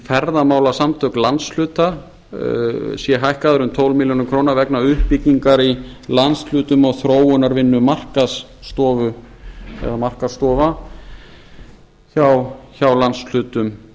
ferðamálasamtök landshluta sé hækkaður um tólf milljónir króna vegna uppbyggingar í landshlutum og þróunarvinnu markaðsstofa eða markaðsstofa hjá landshlutum